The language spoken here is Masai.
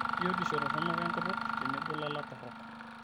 Biotisho toronok enkutuk tenebo lala torrok.